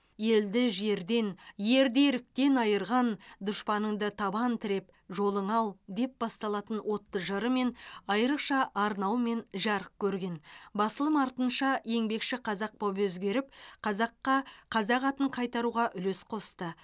елді жерден ерді еріктен айырған дұшпаныңды табан тіреп жолыңа ал деп басталатын отты жырымен айрықша арнауымен жарық басылым артынша еңбекші қазақ боп өзгеріп қазаққа қазақ атын қайтаруға үлес қосты